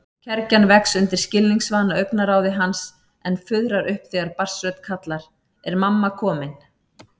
Kergjan vex undir skilningsvana augnaráði hans en fuðrar upp þegar barnsrödd kallar: Er mamma komin?